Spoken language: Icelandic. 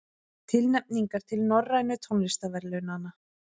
Tilnefningar til Norrænu tónlistarverðlaunanna